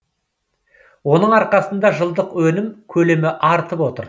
оның арқасында жылдық өнім көлемі артып отыр